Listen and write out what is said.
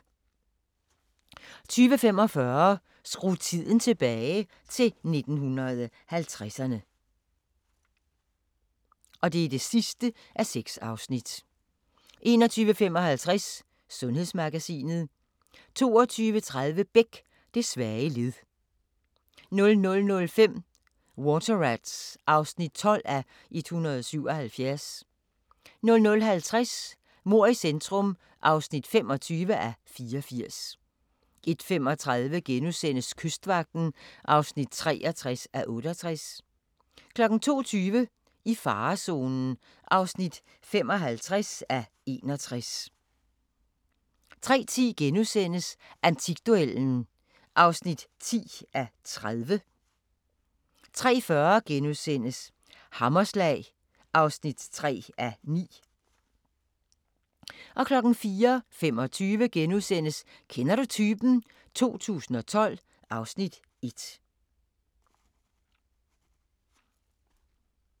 20:45: Skru tiden tilbage – til 1950'erne (6:6) 21:55: Sundhedsmagasinet 22:30: Beck – Det svage led 00:05: Water Rats (12:177) 00:50: Mord i centrum (25:84) 01:35: Kystvagten (63:68)* 02:20: I farezonen (55:61) 03:10: Antikduellen (10:30)* 03:40: Hammerslag (3:9)* 04:25: Kender du typen? 2012 (Afs. 1)*